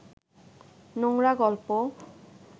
নোংরা গল্প